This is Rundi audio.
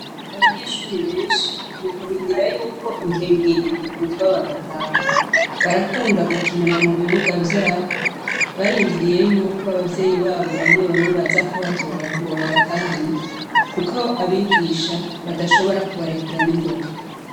Abanyeshure benshi, mu kurindira yuko inkengeri ivuzwa bagataha, barakunda gukinira mu bibuga vyabo, barindiriye yuko abavyeyi babo bamwe bamwe baza kubatora ngo babatahane, kuko abigisha badashobora kubarekura n'ingoga.